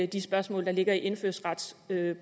de spørgsmål der ligger i indfødsretsprøven